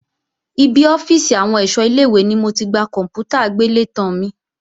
Ibi ọ́fíìsì àwọn ẹ̀ṣọ́ ilé-ìwé ni mo ti gba kòǹpútà agbélétan mi